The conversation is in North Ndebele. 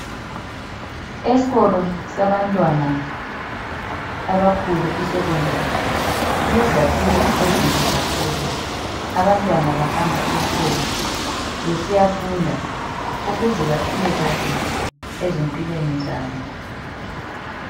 Eskolo sabantwana abakhulu i secondary kulezakhiwo ezinhle kakhulu abantwana bahamba eskolo besiyafunda ukuze baphile kahle ezimpilweni zabo.